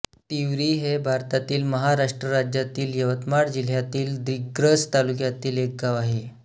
तिवरी हे भारतातील महाराष्ट्र राज्यातील यवतमाळ जिल्ह्यातील दिग्रस तालुक्यातील एक गाव आहे